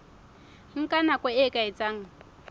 nka nako e ka etsang